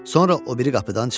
Sonra o biri qapıdan çıxdı.